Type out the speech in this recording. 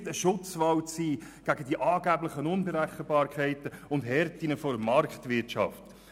Er verspricht, ein Schutzwall zu sein gegen die angeblichen Unberechenbarkeiten und Härten der Marktwirtschaft.